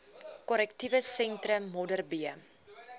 korrektiewe sentrum modderbee